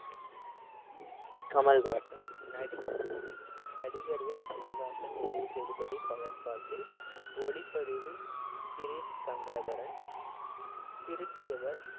கமல்ஹாஸன் நடி~ நடிகர்கள் கமல்ஹாசன், விஜய் சேதுபதி, ஃபஹத் பாசில் ஒளிப்பதிவுகிரீஷ் கங்காதரன் திருத்தியவர்